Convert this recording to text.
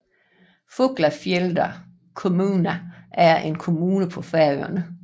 Fuglafjarðar kommuna er en kommune på Færøerne